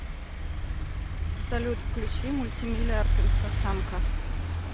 салют включи мультимиллиард инстасамка